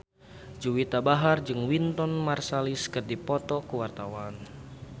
Juwita Bahar jeung Wynton Marsalis keur dipoto ku wartawan